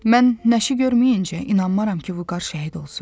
Mən nəşi görməyincə inanmaram ki, Vüqar şəhid olsun.